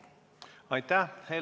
Aitäh!